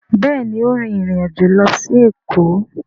Béèni o rìn ìrin àjọ ló sì Eko.